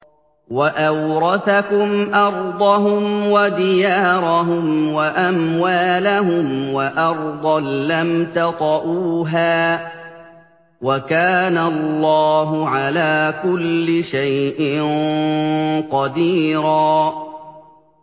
وَأَوْرَثَكُمْ أَرْضَهُمْ وَدِيَارَهُمْ وَأَمْوَالَهُمْ وَأَرْضًا لَّمْ تَطَئُوهَا ۚ وَكَانَ اللَّهُ عَلَىٰ كُلِّ شَيْءٍ قَدِيرًا